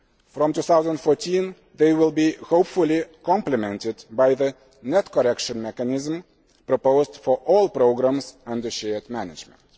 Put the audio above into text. future. From 2014, they will hopefully be complemented by the net correction mechanism proposed for all programmes under shared management.